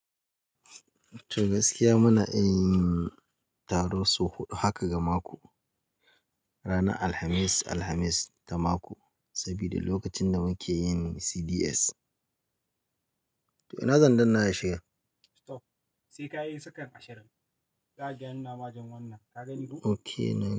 To gaskiya muna iya yin taro sau huɗu haka ga mako. Ranar Alhamis, Alhamis ta mako sabida lokacin da muke yin CDs. To ina zan danna ya shiga? Stop. Sai ka yi second ashirin. Za ka ga ya nuna ma jan wannan. Ka gani ko? Okay na.